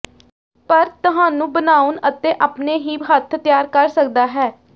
ਪਰ ਤੁਹਾਨੂੰ ਬਣਾਉਣ ਅਤੇ ਆਪਣੇ ਹੀ ਹੱਥ ਤਿਆਰ ਕਰ ਸਕਦਾ ਹੈ